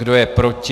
Kdo je proti?